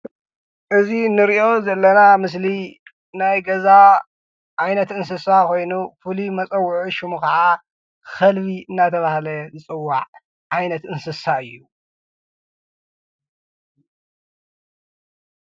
እዚ እንሪኦ ዘለና ምስሊ ናይ ገዛ ዓይነት እንስሳ ኮይኑ ፍሉይ መጸውዒ ሽሙ ክዓ ከልቢ እናተባሃለ ዝፅዋዕ ዓይነት እንስሳ እዩ፡፡